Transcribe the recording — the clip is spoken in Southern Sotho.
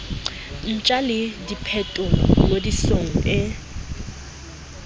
ntjha le diphetolo ngodisong e